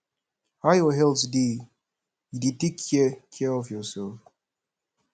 how your health dey you dey take care care of yourself